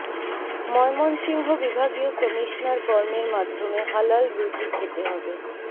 ময়মনসিংহ বিভাগীয় কমিশনার কর্মের মাধ্যমে হালাল রুজি খেতে হবে